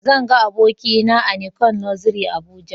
Zan ga abokina a nicon luxury Abuja